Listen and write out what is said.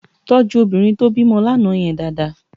Tòjú óbìrín tó bimò làná yèn dàádàá